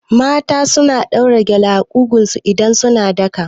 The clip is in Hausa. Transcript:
Mata suna ɗaura gele a ƙugun su idan suna daka